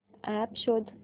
app शोध